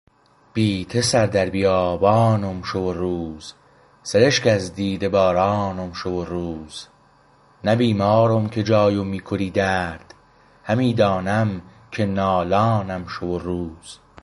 بی ته سر در بیابانم شو و روز سرشک از دیده بارانم شو و روز نه بیمارم که جایم میکری درد همی دانم که نالانم شو و روز